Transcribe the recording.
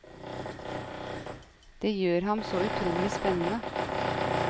Det gjør ham så utrolig spennende.